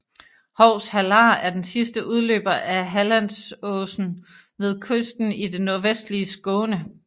Hovs hallar er den sidste udløber af Hallandsåsen ved kysten i det nordvestlige Skåne